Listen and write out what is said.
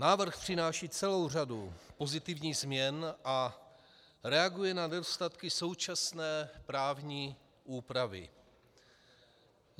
Návrh přináší celou řadu pozitivních změn a reaguje na nedostatky současné právní úpravy.